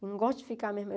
Eu não gosto de ficar mesmo.